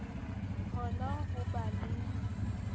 ho na ho ba le